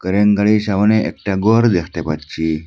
ক্রেনগাড়ির সামোনে একটা গর দেখতে পাচ্ছি।